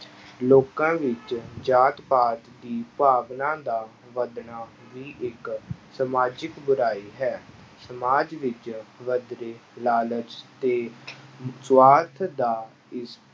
ਲੋਕਾਂ ਵਿੱਚ ਜਾਤ ਪਾਤ ਦੀ ਭਾਵਨਾ ਦਾ ਵੱਧਣਾ ਵੀ ਇੱਕ ਸਮਾਜਿਕ ਬੁਰਾਈ ਹੈ ਸਮਾਜ ਵਿੱਚ ਵੱਧਦੇ ਲਾਲਚ ਤੇ ਸਵਾਰਥ ਦਾ ਇਸ